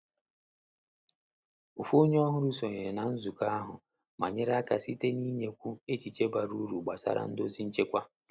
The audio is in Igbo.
Ofu onye ọhụrụ sonyere na nzukọ ahụ ma nyere aka site n’inyekwu echiche bara uru gbasara ndozi nchekwa.